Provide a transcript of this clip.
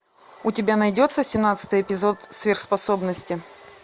у тебя найдется семнадцатый эпизод сверхспособности